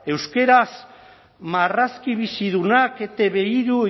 euskaraz marrazki bizidunak etb hirun